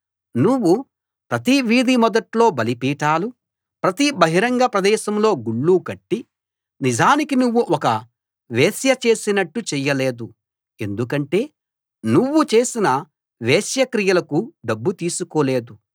నువ్వు ప్రతి వీధి మొదట్లో బలిపీఠాలు ప్రతి బహిరంగ ప్రదేశంలో గుళ్ళు కట్టి నిజానికి నువ్వు ఒక వేశ్య చేసినట్టు చెయ్యలేదు ఎందుకంటే నువ్వు చేసిన వేశ్యక్రియలకు డబ్బు తీసుకోలేదు